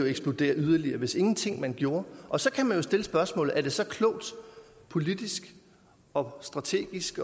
eksplodere yderligere hvis man ingenting gjorde og så kan man jo stille spørgsmålet om det så er klogt politisk og strategisk